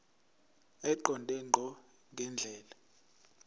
eqonde ngqo ngendlela